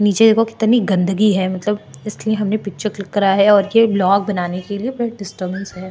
नीचे देखो कितनी गन्दगी है मतलब इसलिए हमने पिक्चर क्लिक करा है और ये ब्लॉग बनाने के लिए डिस्टर्बेंस है।